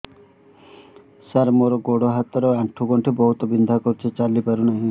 ସାର ମୋର ଗୋଡ ହାତ ର ଆଣ୍ଠୁ ଗଣ୍ଠି ବହୁତ ବିନ୍ଧା କରୁଛି ଚାଲି ପାରୁନାହିଁ